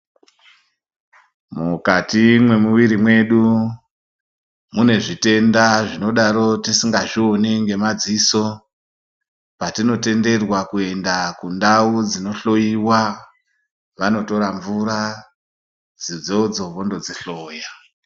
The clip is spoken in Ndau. Mukati mwemuviri mwedu, mune zvitenda zvinodaro tisingazvioni ngemadziso, patinotenderwa kuenda kundau dzinohloiwa, vanotora mvura dzoidzodzo vondodzihloya.